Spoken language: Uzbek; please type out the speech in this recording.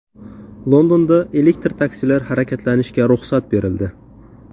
Londonda elektr taksilar harakatlanishiga ruxsat berildi.